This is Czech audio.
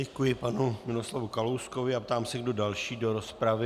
Děkuji panu Miroslavu Kalouskovi a ptám se, kdo další do rozpravy.